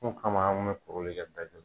kama an kun me kuruli kɛ da kelen na.